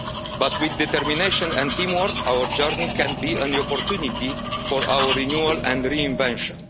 But with determination and teamwork, our journey can be an opportunity for our renewal and reinvention.